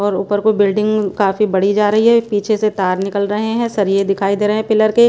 और ऊपर को बिल्डिंग काफी बड़ी जा रही हैं पीछे से तार निकल रहे हैं सरिए दिखाई दे रहे हैं पिलर के--